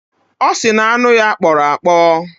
Ọ sị na anụ ya kpọrọ akpọ